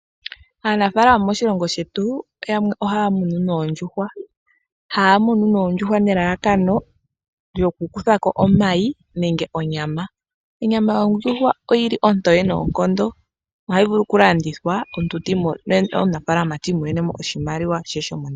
Aanafalama moshilongo shetu, yamwe ohaya munu oondjuhwa. Ohaya munu oondjuhwa nelalakano lyokukuthako omayi nenge onyama. Onyama yondjuhwa oyili ontoye noonkondo, hayi vulu okulandithwa, omunafaalama ti imonene mo oshimaliwa she.